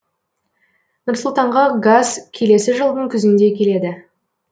нұр сұлтанға газ келесі жылдың күзінде келеді